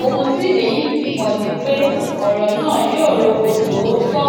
ohun tí èyí fi hàn ni pé ọrọ náà yóò rò kó tóó tọ